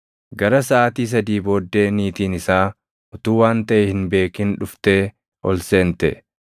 Gara saʼaatii sadii booddee niitiin isaa utuu waan taʼe hin beekin dhuftee ol seente.